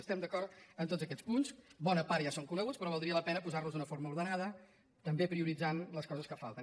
estem d’acord en tots aquests punts bona part ja són coneguts però valdria la pena posar los d’una forma ordenada també prioritzant les coses que falten